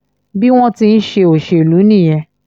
bí wọ́n ti ń ṣe òṣèlú nìyẹn